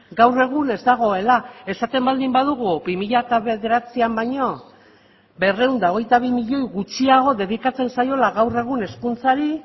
gaur egun ez dagoela esaten baldin badugu bi mila bederatzian baino berrehun eta hogeita bi milioi gutxiago dedikatzen zaiola gaur egun hezkuntzari